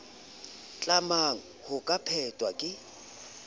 tlamang ho ka phethwa ke